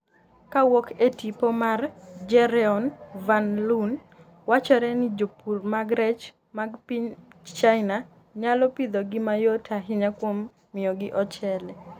kowuok e tipo mar Jeroen van loon wachore ni Jopur mag rech mag piny China nyalo pidhogi mayot ahinya kuom miyogi ochele